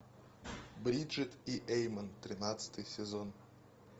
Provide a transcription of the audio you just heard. бриджит и эймон тринадцатый сезон